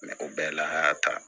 o bɛɛ la an y'a ta